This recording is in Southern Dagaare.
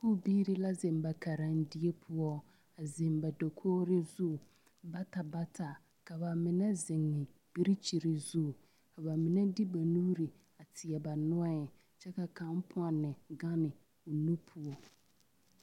Sakubiiri la zeŋ ba karendie poɔ a zeŋ ba dakogri zu bata bata ka ba mine zeŋe birikyiri zu ka ba mine de ba nuuri teɛ ba nɔɛŋ kyɛ ka kaŋ pɔnne gane o nu poɔ.